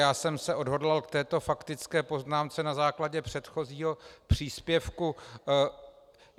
Já jsem se odhodlal k této faktické poznámce na základě předchozího příspěvku.